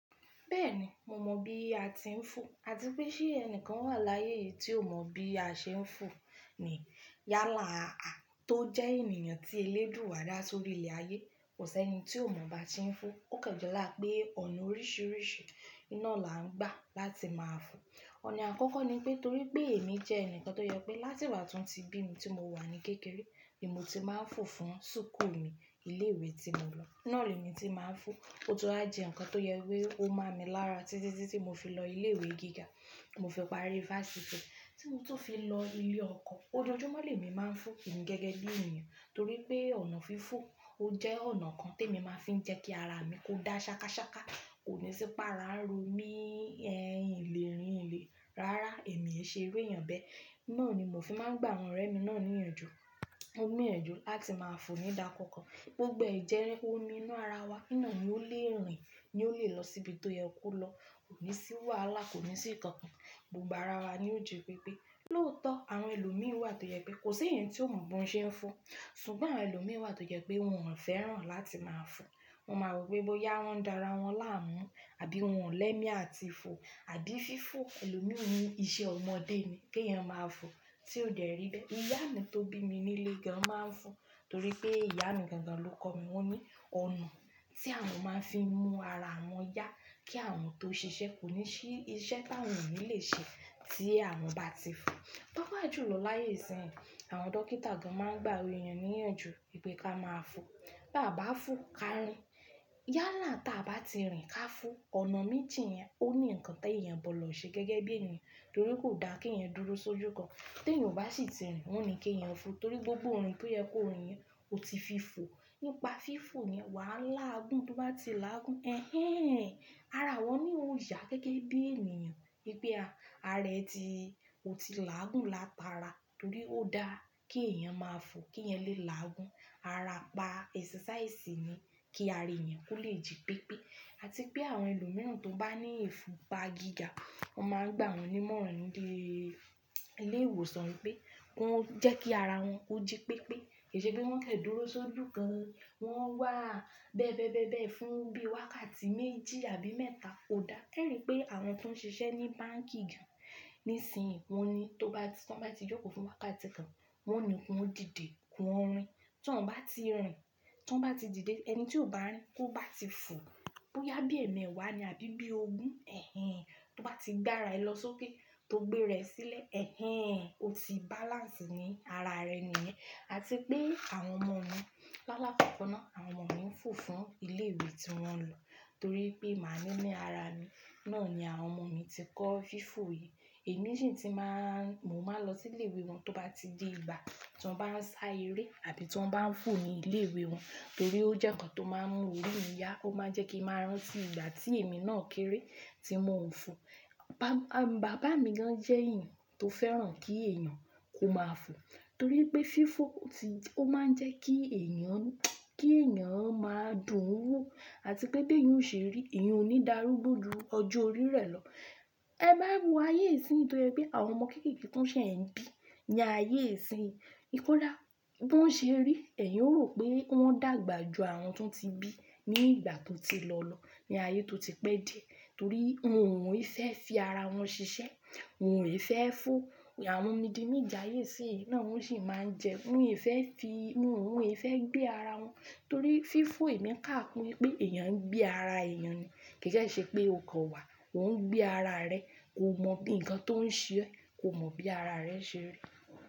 Bẹ́ẹ̀ni, mo mọ̀ bí a ti ń fò àti pé ṣé ẹnìkan wà láyé yìí tí ò mọ̀ bí a ṣe ń fò ni. Yálà a, tó jẹ́ ènìyàn tí elédúa dá sórí ilẹ̀ ayé, kò s'ẹni tí ò mọ̀ bá ṣe ń fò. Ó kan jọlá pé ọ̀nà oríṣiríṣi náà là ń gbà láti máa fò. Ọ̀nà àkọ́kọ́ ni pé torí pé èmi jẹ́ ẹnìkan tó jẹ́ pé láti ìgbà tan tí bí mi tí mo wà ní kékeré, ni mo ti máa ń fò fún súkù mi, ilé ìwé tí mo lọ. Náà lèmi ti máa ń fò. Ó tún á jẹ́ ǹnkan tó yẹ wí pé ó mo mi lára títí tí mo fi lọ ilé ìwé gíga, tí mo fi parí fáṣítì, tí mo tún fi lọ ilé ọkọ. Ojoojúmọ́ lẹ̀mi máa ń fò, èmi gẹ́gẹ́ bí ènìyàn torí pé ọ̀nà fífò ó jẹ́ ọ̀nà kan t'èmi máa fi ń jẹ́ kí ara mi kó dá ṣakáṣaká, kò ní sì para n ro mí ẹ̀ n lèrìn n lẹ̀. Rárá, èmi e ṣe irú éeyàn bẹ́ẹ̀. Náà ni mò fi máa ń gbà àwọn ọ̀rẹ́ mi náà níyànjú. Kan gbíyànjú láti máa fò nígbà kọ̀ọ̀kan. Gbogbo ẹ̀jẹ́ ómi inú ara wa, iná ni yi ó lè ro yi ó lè lọ síbi tó yẹ kó lọ. Kò ní sì wàhálà, kò ní sì nnkàn. Gbogbo ara wa ni ó jí pé pé lóòótọ́ àwọn ẹlòmíi wà tó jẹ́ pé kò sí èèyàn tí ò mọ̀ bón ṣe ń fò. Ṣùgbọ́n àwọn ẹlòmíi wà tó jẹ́ pé wọn ò fẹ́ràn láti máa fò. Wọn máa rò pé bóyá wọ́n dára wọ́n láàmú àbí wọn ò lẹ́mí àti fò àbí fífò ẹlòmíi ni iṣẹ́ ọmọdé ni, kí èèyàn máa fò tí ò dẹ̀ rí bẹ́ẹ̀. Ìyá mi tó bí mi nílé gan máa ń fò torí pé ìyá mi gangan ló kọ́ mi wọ́n ní ọ̀nà tí àwọn máa ń fi mú ara wọn yá kí àwọn tó ṣiṣẹ́ kò ní sì iṣẹ́ táwọn ò ní lè ṣe tí àwọn bá ti fò. Pápa jùlọ láyé ìsín, àwọn dókítà gan máa ń gbà àwa èèyàn níyànjú wípé ká máa fò. Bí a bá fò ká rìn. Yálà táa bá ti rìn ká fò. Ọ̀nà méjì yẹn ó ní ǹnkan tí èèyàn gbọ̀dọ̀ ṣe gẹ́gẹ́ bí ènìyàn torí kò dáa kí èèyàn dúró sójú kan. Tí èèyàn ò bá sì ti rìn, wọ́n ó ní kí èèyàn fò torí gbogbo ìrìn tó yẹ k'ó rìn yẹn ó ti fí fò. Nípa fífò ni wàá làágùn tó bá ti láàgùn. Ẹhẹ́n! Ara àwọn mi ó yà gẹ́gẹ́ bí ènìyàn wípé ah ara ẹ ti ó ti láàgùn látara torí ó dáa kí èèyàn máa fò kí èèyàn lè láàgùn. Ara pa ẹ̀sasáísì ni kí ara èèyàn kó lè jí pépé àti pé àwọn ẹlòmíràn tó bá ní ìfúnpa gíga, wọ́n máa ń gbà wọn nímọ̀ràn nílé ìwòsàn wípé kí wọ́n ó jẹ́ kí ara wọn ó jí pépé. Kì í ṣe pé wọ́n kan dúró sójú kan. Wọ́n wà bẹ́bẹ́bẹ́bẹ́ fún bí wákàtí méjì àbí mẹ́ta kò dáa. Ẹ́rì pé àwọn tó ń ṣiṣẹ́ ní báǹkì ju, nísinyìí wọ́n ni tó bá tí tan bá ti jókòó fún wákàtí kan, wọ́n ó ní kí wọn ó dìde, kí wọn ó rìn. Tí wọ́n bá ti rìn, tan bá ti dìde, ẹni tí ò bá rìn tó bá ti fò bóyá bí ẹ̀mewa ni àbí bí ogún, ẹ̀hẹ́n! Tó bá ti gbára ẹ lọ sókè tó gbé rẹ sílẹ̀, ẹ̀hẹ́n! O ti balance ní ara rẹ nìyẹn. Àti pé àwọn ọmọ mi, lálá kọ̀ko náà àwọn ọmọ mi ń fò fún ilé ìwé tí wọ́n lọ torí pé màá ní ní ara mi. Náà ni àwọn ọmọ mi ti kọ́ fífò yìí. Èmi sì ti máa ń-- mo máa ń lọ sí ilé ìwé wọn tó bá ti di ìgbà tí wọ́n bá ń sá eré àbí tí wọ́n bá ń fò ní ilé ìwé wọn torí ó jẹ́ ǹnkan tó máa ń mú orí mì yá. Ó máa ń jẹ́ kí n máa rántí ìgbà tí èmi náà kéré tí mo ń fò. Bàbá mi gan jẹ́ èèyàn tó fẹ́ràn kí èèyàn kó máa fò torí pé fífò ti ó máa ń jẹ́ kí èèyàn kí èèyàn máa dùn ún wò àti pé bí èèyàn ṣe rí, èèyàn ò ní dàrúgbò jù ọjọ́ orí rẹ̀ lọ. Ẹ má wa wo ayé ìsín tó jẹ́ pé àwọn ọmọ kéékèèké tó ṣẹ̀ ń bí ní ayé ìsín. Kọda! Bí wọ́n ṣe rí, ẹ̀eyin ó rò pé wọ́n dàgbà ju àwọn tó ti bí ní ìgbà tó ti lọ lọ ní ayé tó ti pẹ́ díẹ̀ torí wọn o e fẹ́ fi ara wọn ṣiṣẹ́, wọn ò e fẹ́ fò. Àwọn mídínmídín ayé ìsínyí, náà wọ́n ò sì máa ń jẹ. Wọn ò e fẹ́ fi, wọn ò e fẹ́ gbé ara wọn torí fífò èmi káàkú wípé èèyàn ń gbé ara èèyàn ni. Kì í dẹ̀ ṣe pé o gọ̀ wà, ò ń gbé ara rẹ. Kò mọ̀ bí ǹkan tó ń ṣe ẹ́, kò mọ̀ bí ara rẹ ṣe rí.